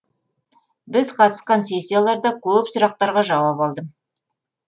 біз қатысқан сессияларда көп сұрақтарға жауап алдым